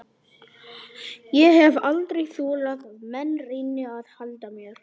Ég hef aldrei þolað að menn reyni að halda mér.